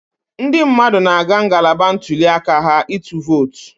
Ndị mmadụ na-aga ngalaba ntuli aka ha ịtụ vootu